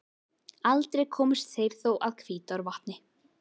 Aldrei komust þeir þó að Hvítárvatni.